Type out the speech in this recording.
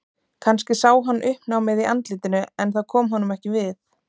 Kannski sá hann uppnámið í andlitinu en það kom honum ekki við.